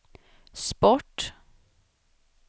sport